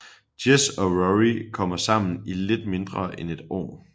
Jess og Rory kommer sammen i lidt mindre end et år